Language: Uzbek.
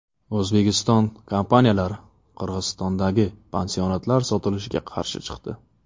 O‘zbekiston kompaniyalari Qirg‘izistondagi pansionatlar sotilishiga qarshi chiqdi .